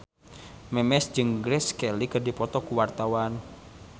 Memes jeung Grace Kelly keur dipoto ku wartawan